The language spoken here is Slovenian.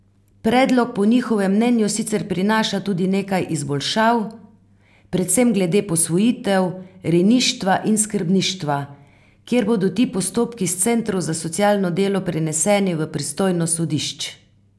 Predlog po njihovem mnenju sicer prinaša tudi nekaj izboljšav, predvsem glede posvojitev, rejništva in skrbništva, kjer bodo ti postopki s centrov za socialno delo preneseni v pristojnost sodišč.